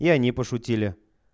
и они пошутили